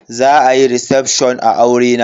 Za a yi recefshon a aurena.